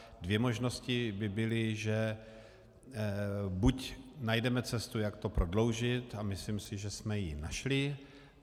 Dvě možnosti by byly, že buď najdeme cestu, jak to prodloužit, a myslím si, že jsme ji našli.